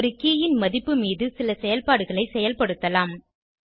பின் ஒரு கே ன் மதிப்பு மீது சில செயல்பாடுகளை செயல்படுத்தலாம்